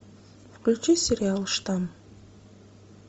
включи сериал штамм